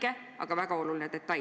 See on väike, aga väga oluline detail.